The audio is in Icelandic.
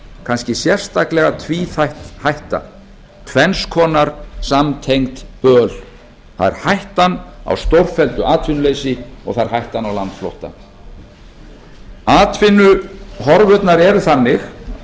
kannski sérstaklega tvíþætt hætta tvenns konar samtengt böl það er hættan á stórfelldu atvinnuleysi og það er hættan á landflótta atvinnuhorfurnar eru þannig